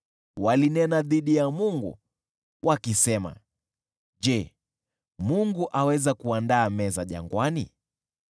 Walinena dhidi ya Mungu, wakisema, “Je, Mungu aweza kuandaa meza jangwani?